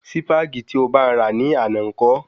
Sípàgì tí o bá n ra ní àná ńkọ́?